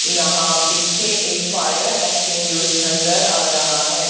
यहां पीछे एक फायर एक्टिंग्विश नजर आ रहा है।